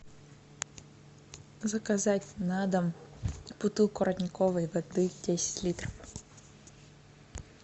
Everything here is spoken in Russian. заказать на дом бутылку родниковой воды десять литров